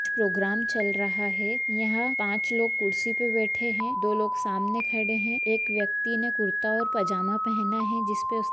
programme चल रहा है यहाँ पांच लोग कुर्सी पे बैठे है दो लोग सामने खड़े है एक व्यक्ति ने कुर्ता और पेजामा पहना है जिसपे उस--